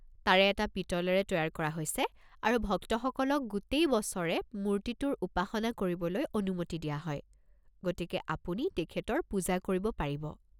তাৰে এটা পিতলেৰে তৈয়াৰ কৰা হৈছে আৰু ভক্তসকলক গোটেই বছৰে মূৰ্তিটোৰ উপাসনা কৰিবলৈ অনুমতি দিয়া হয়, গতিকে আপুনি তেখেতৰ পূজা কৰিব পাৰিব।